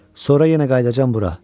Sonra yenə qayıdacam bura.